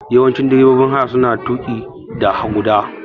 Yawanci direbobin haya suna tuƙi da guda.